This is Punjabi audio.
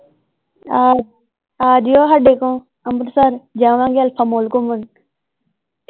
ਆਹ ਆਜਿਓ ਹਾਡੇ ਕੋਲ ਅਮ੍ਰਿਤਸਰ ਜਾਵਾਂਗੇ ਅਲਫ਼ਾ ਮਾਲ ਘੁੰਮਣ